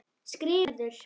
skrifar Gerður.